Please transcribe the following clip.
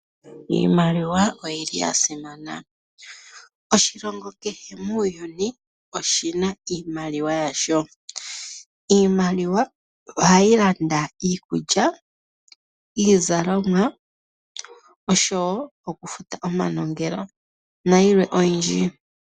Iimaliwa oyili ya simana. Oshilongo kehe muuyuni oshina iimaliwa yasho. Iimaliwa ohayi landa iikulya, iizalomwa oshowo okufuta omanongelo nayilwe oyindji.